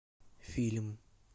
фильм